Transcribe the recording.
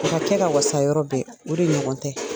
O ka kɛ ka wasa yɔrɔ bɛ, o de ɲɔgɔn tɛ.